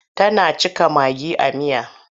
Tana cika magi a miya.